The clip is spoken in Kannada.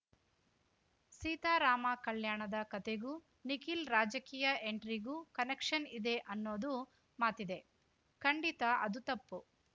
ಸೀತಾ ರಾಮ ಕಲ್ಯಾಣ ದ ಕತೆಗೂ ನಿಖಲ್‌ ರಾಜಕೀಯ ಎಂಟ್ರಿಗೂ ಕನೆಕ್ಷನ್‌ ಇದೆ ಅನ್ನೋದು ಮಾತಿದೆ ಖಂಡಿತಾ ಅದು ತಪ್ಪು